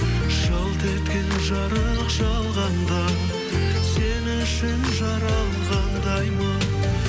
жалт еткен жарық жалғанда сен үшін жаралғандаймын